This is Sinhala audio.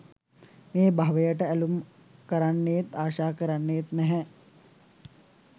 මේ භවයට ඇලුම් කරන්නේත් ආශා කරන්නේත් නැහැ.